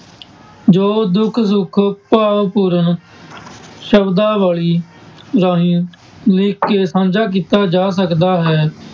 ਜੋ ਦੁੱਖ ਸੁੱਖ ਭਾਵ ਪੂਰਨ ਸ਼ਬਦਾਵਲੀ ਰਾਹੀਂ ਲਿਖ ਕੇ ਸਾਂਝਾ ਕੀਤਾ ਜਾ ਸਕਦਾ ਹੈ,